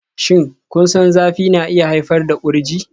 Shin kun san zafi na iya haifar da kurji?